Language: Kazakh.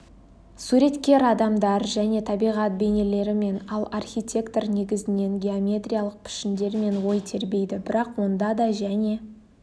суреткер адамдар және табиғат бейнелерімен ал архитектор негізінен геометриялық пішіндермен ой тербейді бірақ онда да және